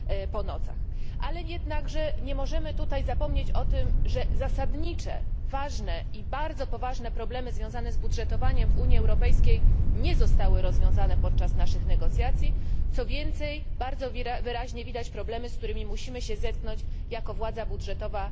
Nie możemy jednakże zapomnieć, że zasadnicze, ważne i bardzo poważne problemy związane z budżetem Unii Europejskiej nie zostały rozwiązane podczas naszych negocjacji, co więcej, bardzo wyraźnie widać problemy, z którymi musimy się zetknąć jako władza budżetowa